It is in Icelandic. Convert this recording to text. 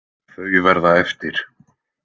Þau verða eftir.